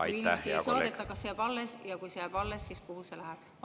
Kui inimesi ei saadeta, kas see jääb alles, ja kui see jääb alles, siis kuhu see läheb?